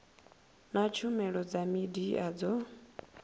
na tshumelo dza midia dzo